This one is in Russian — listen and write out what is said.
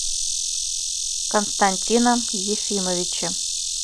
константином ефимовичем